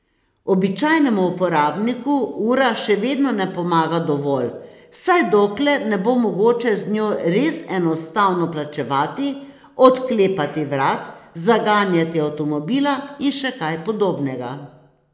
Običajnemu uporabniku ura še vedno ne pomaga dovolj, vsaj dokler ne bo mogoče z njo res enostavno plačevati, odklepati vrat, zaganjati avtomobila in še kaj podobnega.